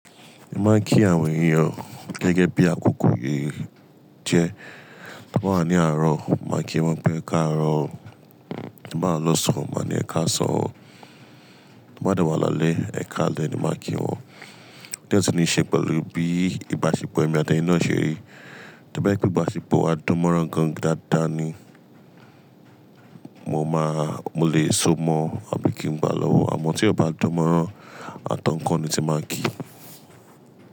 Mo máa kí àwọn ènìyàn gẹ́gẹ́ bí àkókò yí jẹ. Ta ba wa ní àárọ̀, máa kí wọn pé "ẹ káàárọ̀". Ta ba wa lọ sọ́n máa ní "ẹ ká sọ". Ta bá de wọ́n lálẹ́, "ẹ ká lálẹ́" ni máa kí wọn. Diẹ tìí ní í ṣe pẹ̀lú bí ìbáṣepọ̀ ẹ̀mi àti eni na ṣe rí. To ba je pe ìbáṣepọ̀, a dánmọ́rán ǹkan dáadáa ni mo máa, mo lè so mọ́ ọ bí kí n gbà á lọ́wọ́. Àmọ́ tí a bá dánmọ́rán, àtọ̀nǹkan ni tí máa ń kí.